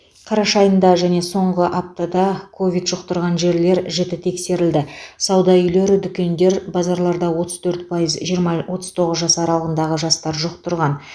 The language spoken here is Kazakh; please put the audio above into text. қараша айында және соңғы аптада ковид жұқтырған жерлер жіті тексерілді сауда үйлері дүкендер базарларда отыз төрт пайыз жиырма отыз тоғыз жас аралығындағы жастар жұқтырған